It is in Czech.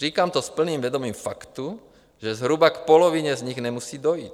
Říkám to s plným vědomím faktu, že zhruba k polovině z nich nemusí dojít.